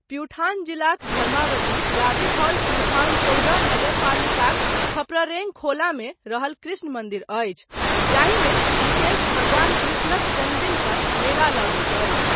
प्युठान जिलाक धर्मावती गाविस हॉल प्युठान चौदह नगरपालिकाक खप्ररेङखोलामे रहल कृष्ण मन्दिर अछी जाहिमे विशेष भगवान कृष्णक जन्मदिन पर मेला लगैत अछि।